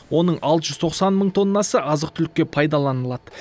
оның алты жүз тоқсан мың тоннасы азық түлікке пайдаланылады